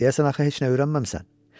Deyəsən, axı heç nə öyrənməmisən.